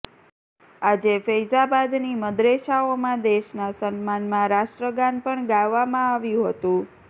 આજે ફૈઝાબાદની મદરેસાઓમાં દેશના સન્માનમાં રાષ્ટ્રગાન પણ ગાવવામાં આવ્યું હતું